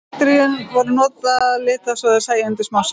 Bakteríur voru litaðar svo þær sæjust undir smásjá.